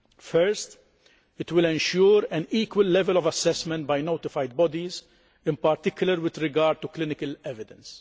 First, it will ensure an equal level of assessment by notified bodies, in particular with regard to clinical evidence.